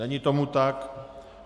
Není tomu tak.